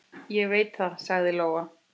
Ég veit það, sagði Lóa.